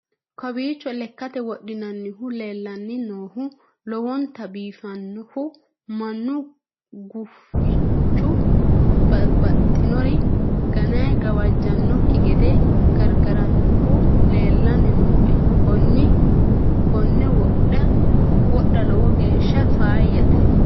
kowiicho lekate wodhinannihu leellanni noohu lowonta biifannnohu mannu gufichu babbaxxinori gane gawajjannokki gede gargarannohu leellanni nooe konne wodha lowo geeshsha faayyate